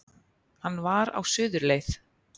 Hann var á suðurleið